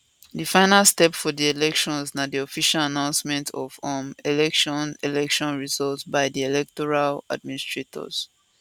di final step for di elections na di official announcement of um election election results by di electoral administrators